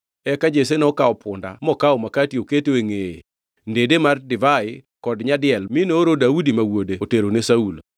Eka Jesse nokawo punda mokawo makati oketo e ngʼeye, ndede mar divai kod nyadiel mi nooro Daudi ma wuode oterone Saulo.